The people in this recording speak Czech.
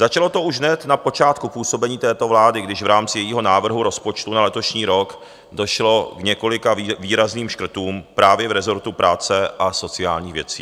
Začalo to už hned na počátku působení této vlády, když v rámci jejího návrhu rozpočtu na letošní rok došlo k několika výrazným škrtům právě v rezortu práce a sociálních věcí.